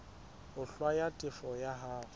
ho hlwaya tefo ya hao